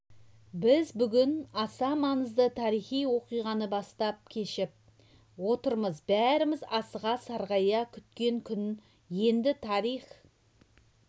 біз бүгін аса маңызды тарихи оқиғаны бастан кешіп отырмыз бәріміз асыға сарғая күткен күн енді тарих